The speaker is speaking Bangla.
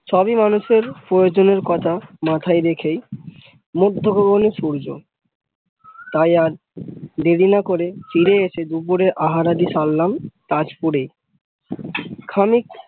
সবই মানুষের প্রয়োজনের কথা মাথায় রেখেই, মধ্য গগনে সূর্য তাই আর দেরি না করে ফিরে এসে দুপুরে আহারাদি সারলাম তাজপুরে খানিক